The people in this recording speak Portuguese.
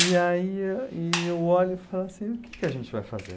E aí e eu olho e falo assim, o que que a gente vai fazer?